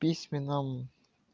письменному